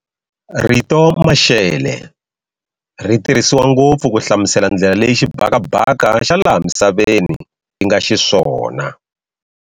Rito maxele, ritirhisiwa ngopfu ku hlamusela ndlela leyi xibhakabhaka xa laha misaveni xinga xiswona.